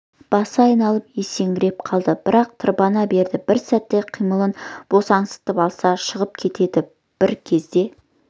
басы айналып есеңгіреп қалды бірақ тырбана берді бір сәтке қимылын босаңсытып алса жығып кетеді бір кезде